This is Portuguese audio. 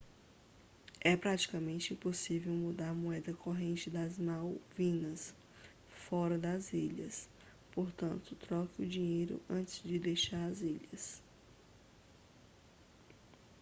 é praticamente impossível mudar a moeda corrente das malvinas fora das ilhas portanto troque o dinheiro antes de deixar as ilhas